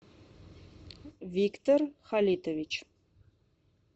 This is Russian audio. виктор халитович